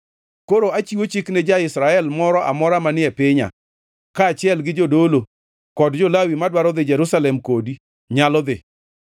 Koro achiwo chik ni ja-Israel moro amora manie pinya, kaachiel gi jodolo kod jo-Lawi, madwaro dhi Jerusalem kodi, nyalo dhi.